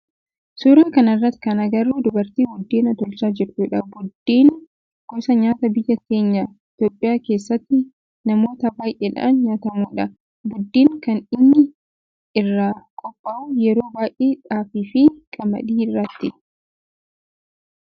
Suuraa kana irratti kan agarru dubartii buddeen tolchaa jirtudha. Buddeen gosa nyaataa biyya teenya Itiyoophiyaa keessatti namoota baayyeedhan nyaatamudha. Buddeen kan inni irraa qophaa'u yeroo baayyee xaafii fi qamadii irraati.